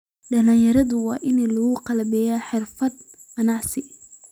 Dhalinyaradu waa in lagu qalabeeyaa xirfado ganacsi.